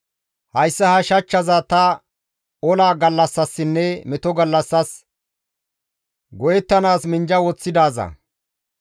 Hayssa ha shachchaza ta ola gallassasinne meto gallassas go7ettanaas minjja woththidaaza.